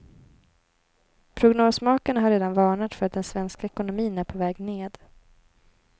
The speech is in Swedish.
Prognosmakarna har redan varnat för att den svenska ekonomin är på väg ned.